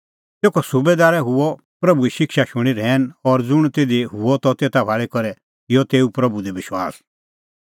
तेखअ सुबैदार हुअ प्रभूए शिक्षा शूणीं रहैन और ज़ुंण तिधी हुअ त तेता भाल़ी करै किअ तेऊ प्रभू दी विश्वास